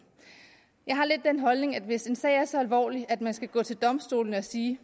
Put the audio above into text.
jeg har lidt den holdning at hvis en sag er så alvorlig at man skal gå til domstolene og sige